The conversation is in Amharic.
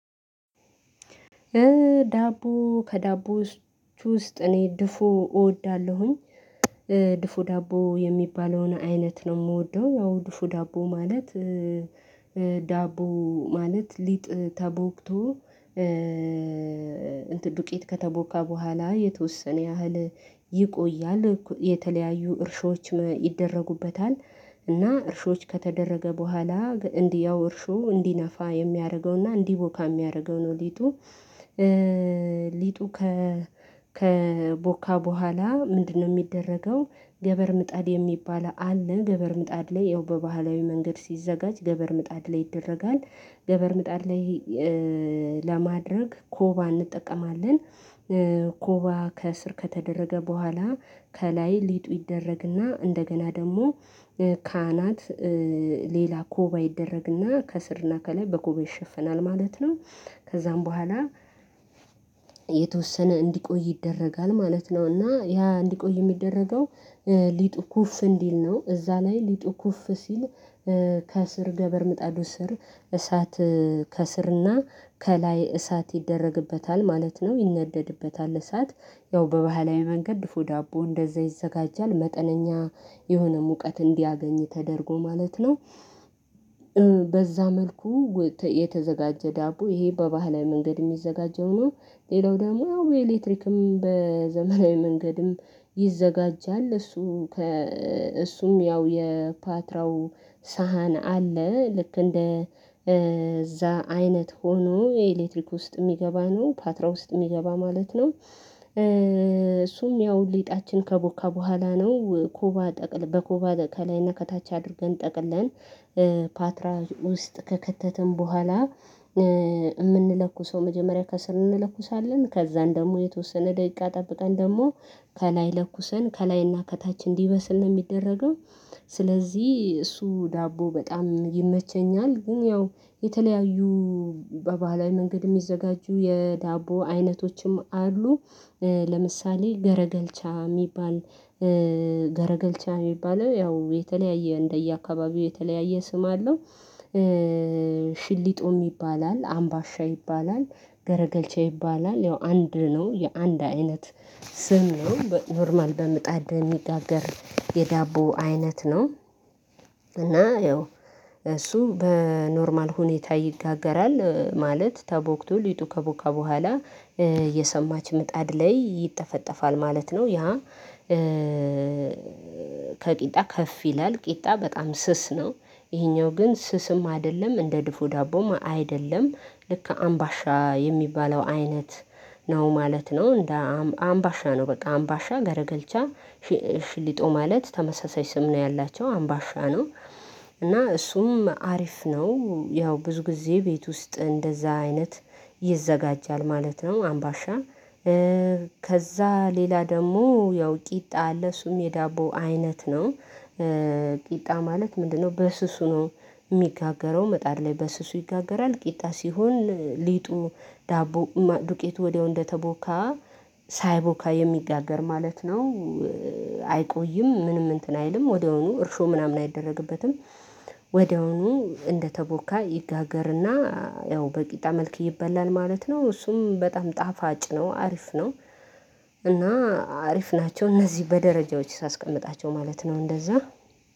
ዳቦ ከዳቦዎች ውስጥ እኔ ድፎ እወዳለሁኝ። ድፎ ዳቦ የሚባለውን አይነት ነው የምወደው ያው ድፎ ዳቦ ማለት ዳቦ ማለት ሊጥ ተቦክቶ ዱቄት ከተቦካ በኋላ የተወሰነ ያህል ይቆያል የተለያዩ እርሾዎች ይደረጉበታል እና እርሾች ከተደረገ በኋላ እንዲያው እርሾ እንዲነፋ የሚያደርገውና እንዲቦካ የሚያደርገው ነው ሊጡ። ሊጡ ከቦካ በኋላ ምንድነው የሚደረገው? ገበር ምጣድ የሚባል አለ ገበር ምጣድ ላይ ያው በባህላዊ መንገድ ሲዘጋጅ ገበር ምጣድ ላይ ይደረጋል። ገበር ምጣድ ላይ ለማድረግ ኮባ እንጠቀማለን። ኮባ ከእስር ከተደረገ በኋላ ከላይ ሊጡ ይደረግና እንደገና ደግሞ ካህናት ሌላ ኮባ ይደረግና ከስርና ከላይ በኮባ ይሸፍናል ማለት ነው። ከዛም በኋላ የተወሰነ እንዲቆይ ይደረጋል ማለት ነው። እና ያ እንዲቆይ የሚደረገው ሊጡ ኩፍ እንዲል ነው። እዛ ላይ ሊጡ ኩፍ ሲል ከስር ገበር ምጣዱ ስር እሳት ከስርና ከላይ እሳት ይደረግበታል ማለት ነው። ይነደድበታል እሳት ያው በባህላዊ መንገድ ድፎ ዳቦ እንደዛ ይዘጋጃል። መጠነኛ የሆነ ሙቀት እንዲያገኝ ተደርጎ ማለት ነው። በዛ መልኩ የተዘጋጀ ዳቦ ይሄ በባህላዊ መንገድ የሚዘጋጀው ነው። ሌላው ደግሞ ያው የኤሌክትሪክም በዘመናዊ መንገድም ይዘጋጃል። እሱ እሱም ያው የፓትራው ሳህን አለ ልክ እንደ እዛ አይነት ሆኖ የኤሌክትሪክ ውስጥ የሚገባ ነው ፓትራ ውስጥ የሚገባ ማለት ነው። እሱም ያው ሊጣችን ከቦካ በኋላ ነው ኮባ ጠቅል በኮባ ከላይና ከታች አድርገን ጠቅለን ፓትራ ውስጥ ከከተተን በኋላ የምንለኩሰው መጀመሪያ ከስር እንለኩሳለን ከዛን ደግሞ የተወሰነ ደቂቃ ጠብቀን ደግሞ ከላይ ለኩሰን ከላይና ከታች እንዲበስል ነው የሚደረገው። ስለዚህ እሱ ዳቦ በጣም ይመቸኛል ግን ያው የተለያዩ በባህላዊ መንገድ የሚዘጋጁ የዳቦ አይነቶችም አሉ። ለምሳሌ ገረገልቻ የሚባል ገረገልቻ የሚባለው ያው የተለያየ እንደየአካባቢው የተለያየ ስም አለው። ሽሊጦ ይባላል አምባሻ ይባላል ገረገልቼ ይባላል ያው አንድ ነው የአንድ አይነት ስም ነው በኖርማል በምጣድ የሚጋገር የዳቦ አይነት ነው። እና ያው እሱ በኖርማል ሁኔታ ይጋገራል ማለት ተቦክቶ ሊጡ ከቦካ በኋላ የሰማች ምጣድ ላይ ይጠፈጠፋል ማለት ነው። ያ ከቂጣ ከፍ ይላል ቂጣ በጣም ስስ ነው። ይሄኛው ግን ስስም አይደለም እንደ ድፎ ዳቦም አይደለም ልክ አምባሻ የሚባለው አይነት ነው ማለት ነው። እንደ አምባሻ ነው በቃ አምባሻ ገረገልቻ ሽሊጦ ማለት ተመሳሳይ ስም ነው ያላቸው አምባሻ ነው። እና እሱም አሪፍ ነው ያው ብዙ ጊዜ ቤት ውስጥ እንደዛ አይነት ይዘጋጃል ማለት ነው። አምባሻ ከዛ ሌላ ደግሞ ያው ቂጣ አለ እሱም የዳቦ አይነት ነው። ቂጣ ማለት ምንድነው? በስሱ ነው የሚጋገረው ምጣድ ላይ በስሱ ይጋገራል ቂጣ ሲሆን ሊጡ ዳቦ ዱቄቱ ወዲያው እንደተቦካ ሳይቦካ የሚጋገር ማለት ነው። አይቆይም ምንም እንትን አይልም ወዲያውኑ እርሾ ምናምን አይደረግበትም። ወዲያውኑ እንደተቦካ ይጋገርና ያው በቂጣ መልክ ይበላል ማለት ነው። እሱም በጣም ጣፋጭ ነው አሪፍ ነው። እና አሪፍ ናቸው እነዚህ በደረጃዎች ሳስቀምጣቸው ማለት ነው እንደዛ